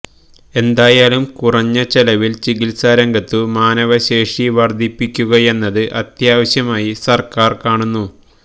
എന്തായാലും കുറഞ്ഞ ചെലവിൽ ചികിത്സാരംഗത്തു മാനവശേഷി വർധിപ്പിക്കുകയെന്നത് അത്യാവശ്യമായി സർക്കാർ കാണുന്നു